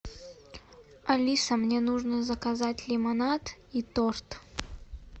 алиса мне нужно заказать лимонад и торт